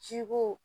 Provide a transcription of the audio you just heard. Ji ko